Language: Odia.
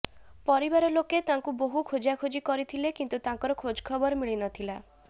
ପରିବାର ଲୋକେ ତାଙ୍କୁ ବହୁ ଖୋଜାଖୋଜି କରିଥିଲେ କିନ୍ତୁ ତାଙ୍କର ଖୋଜଖବର ମିଳି ନଥିଲା